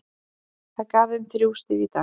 Það gaf þeim þrjú stig í dag.